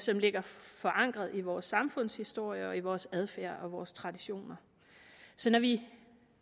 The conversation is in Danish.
som ligger forankret i vores samfundshistorie og i vores adfærd og vores traditioner så når vi